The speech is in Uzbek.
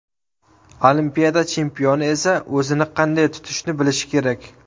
Olimpiada chempioni esa o‘zini qanday tutishni bilishi kerak.